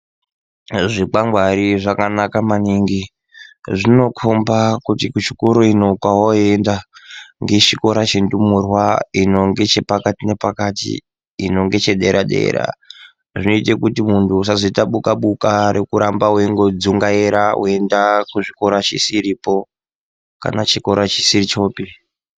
Zvikwangwari zvakanaka maningi zvinokhomba kuti kuchikoro ino kwawoenda ngechikora chendumurwa ino ngechepakati nepakati ino ngechedera dera zvinoite kuti munhu usazoita buka buka rekuramba wendodzungaira weienda kuchikora chisiripo kana chikora chisiri chopi.